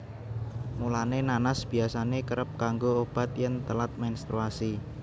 Mulané nanas biyasané kerep kanggo obat yèn telat menstruasi